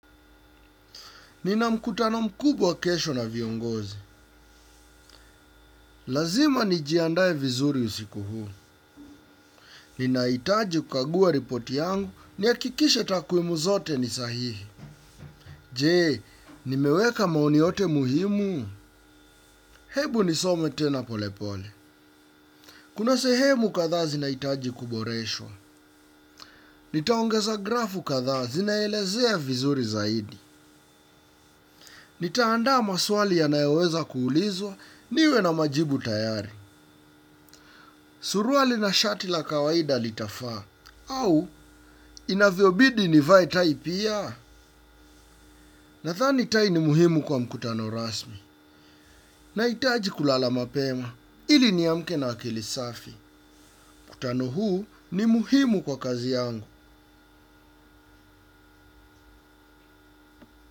Nina mkutano mkubwa kesho na viongozi. Lazima nijiandae vizuri usiku huu. Ninahitaji kukagua ripoti yangu nihakikishe takuimu zote ni sahihi. Je, nimeweka maoni yote muhimu. Hebu nisome tena polepole. Kuna sehemu kadhaa zinahitaji kuboreshwa. Nitaongeza grafu kadhaa zinaelezea vizuri zaidi. Nitaandaa maswali yanayoweza kuulizwa niwe na majibu tayari. Suruali na shati la kawaida litafaa au inavyobidi nivae tai pia nadhani tai ni muhimu kwa mkutano rasmi nahitaji kulala mapema ili niamke na akili safi kutano huu ni muhimu kwa kazi yangu.